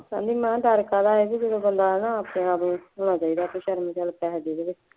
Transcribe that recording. ਕਹਿੰਦੀ ਮੈਂ ਕਿਹਾ ਡਰ ਕਾਹਦਾ ਹੈ ਜੀ, ਜਦੋਂ ਬੰਦਾ ਹੈ ਨਾ ਆਪਣੇ ਆਪ ਨੂੰ ਸਮਝਾਉਣਾ ਚਾਹੀਦਾ ਕੋਈ ਗੱਲ ਨਹੀਂ ਚੱਲ ਪੈਸੇ ਦੇ ਦੇਵੇ